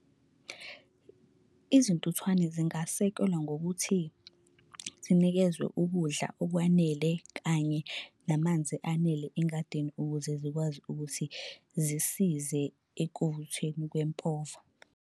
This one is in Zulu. Izintuthwane zingasekelwa ngokuthi zinikezwe ukudla okwanele kanye namanzi anele engadini ukuze zikwazi ukuthi zisize ekuvuthweni kwempova.